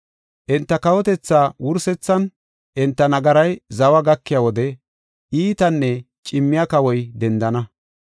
“Enta kawotethaa wursethan, enta nagaray zawa gakiya wode, iitanne cimmiya kawoy dendana.